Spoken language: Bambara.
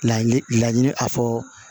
Laɲini a fɔ